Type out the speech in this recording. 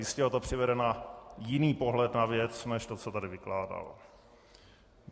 Jistě ho to přivede na jiný pohled na věc než to, co tady vykládal.